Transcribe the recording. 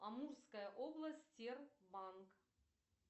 амурская область тербанк